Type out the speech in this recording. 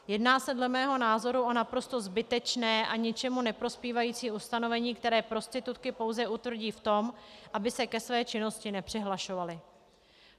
Jedná se dle mého názoru o naprosto zbytečné a ničemu neprospívající ustanovení, které prostitutky pouze utvrdí v tom, aby se ke své činnosti nepřihlašovaly.